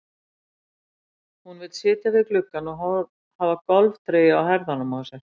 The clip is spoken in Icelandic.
Hún vill sitja við gluggann og hafa golftreyju á herðunum á sér.